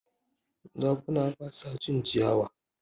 Zakuna ba su cin ciyawa.